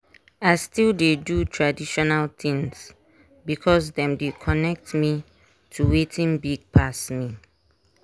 i still dey do traditional things because dem dey connect me to watin big pass me.